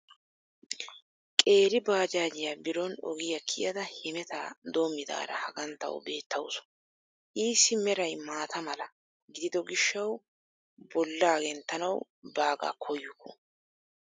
Qeeri baajaajiya biron ogiya kiyada hemettaa doomidaara hagan tawu beetawusu. Issi meray maata mala gididdo gishshawu bollaa gentanawu baagaa koyukku.